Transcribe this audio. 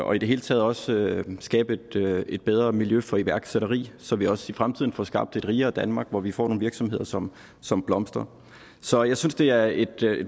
og i det hele taget også skabe et bedre miljø for iværksætteri så vi også i fremtiden får skabt et rigere danmark hvor vi får nogle virksomheder som som blomstrer så jeg synes det er et